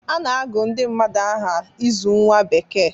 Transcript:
A na-agụ ndị mmadụ aha ịzụ nwa bekee